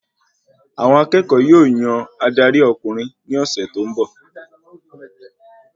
Àwọn akẹ́kọ̀ọ́ yóò yan adari ọkùnrin ní ọsẹ tó n bọ